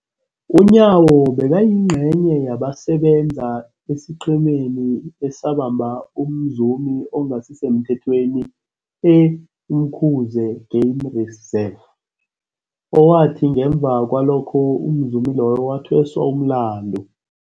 UNyawo bekayingcenye yabasebenza esiqhemeni esabamba umzumi ongasisemthethweni e-Umkhuze Game Reserve, owathi ngemva kwalokho umzumi loyo wathweswa umlandu.